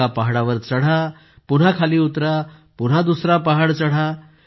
एका पहाडावर चढा पुन्हा खाली उतरा पुन्हा दुसरा पहाड चढा